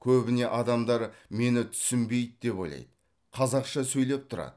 көбіне адамдар мені түсінбейді деп ойлайды қазақша сөйлеп тұрады